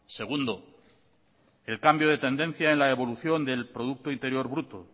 segundo el cambio de tendencia en la evolución del producto interior bruto